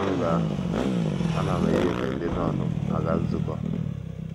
N’oge ahụ, ana m eyi efe ndị nọn m aga nzukọ.